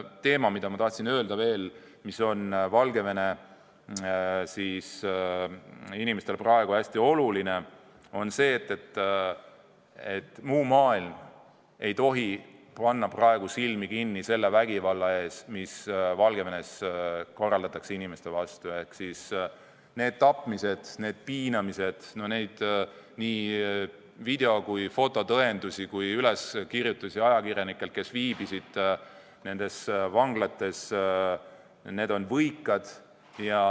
Aga ma tahan veel öelda, et üks asi, mis on Valgevene inimestele praegu hästi oluline, on see, et muu maailm ei paneks silmi kinni selle vägivalla ees, mida Valgevene inimesed tunda saavad: need tapmised, need piinamised, need nii video- kui fototõendid kui ka üleskirjutused ajakirjanikelt, kes viibisid nendes vanglates, on võikad.